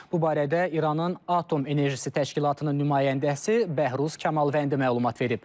Bu barədə İranın Atom Enerjisi Təşkilatının nümayəndəsi Bəhruz Kamalvəndi məlumat verib.